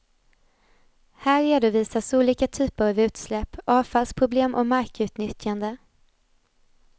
Här redovisas olika typer av utsläpp, avfallsproblem och markutnyttjande.